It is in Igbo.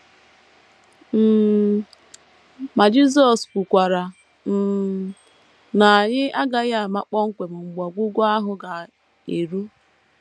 um Ma, Jisọs kwukwara um na anyị agaghị ama kpọmkwem mgbe ọgwụgwụ ahụ ga - eru.